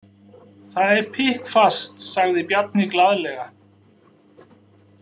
Það er pikkfast, sagði Bjarni glaðlega.